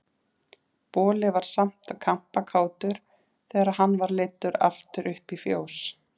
Boli var samt kampakátur þegar hann var leiddur aftur upp í fjós.